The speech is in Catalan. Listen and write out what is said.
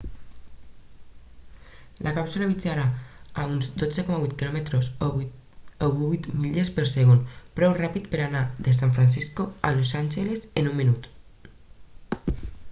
la càpsula viatjarà a uns 12.8 km o 8 milles per segon prou ràpid per anar de san francisco a los angeles en un minut